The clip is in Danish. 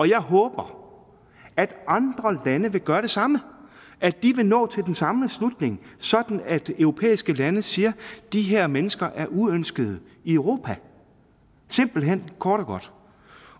jeg håber at andre lande vil gøre det samme at de vil nå til den samme slutning sådan at europæiske lande siger at de her mennesker er uønskede i europa simpelt hen kort